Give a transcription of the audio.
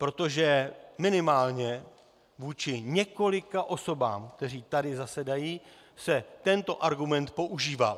Protože minimálně vůči několika osobám, které tady zasedají, se tento argument používal.